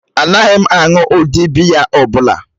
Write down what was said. Anaghị m aṅụ ụdị biya ọ bụla.